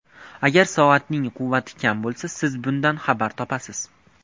Agar soatning quvvati kam qolsa, siz bundan xabar topasiz!